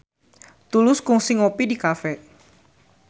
Tulus kungsi ngopi di cafe